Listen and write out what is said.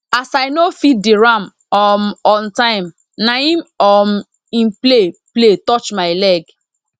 as i no feed di ram um on time na em um e play play touch my leg